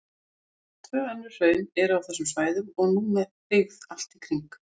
Tvö önnur hraun eru á þessum svæðum og nú með byggð allt í kring.